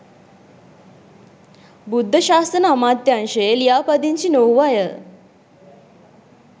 බුද්ධ ශාසන අමාත්‍යාංශයේ ලියාපදිංචි නොවූ අය